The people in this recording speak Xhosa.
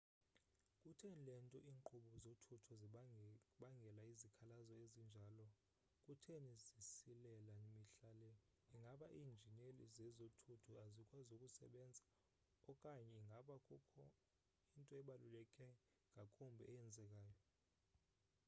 kutheni le nto iinkqubo zothutho zibangela izikhalazo ezinjalo kutheni zisilela mihla le ingaba iinjineli zezothutho azikwazi ukusebenza okanye ingaba kukho into ebaluleke ngakumbi eyenzekayo